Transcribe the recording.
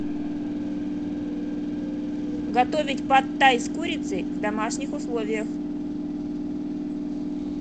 готовить пад тай с курицей в домашних условиях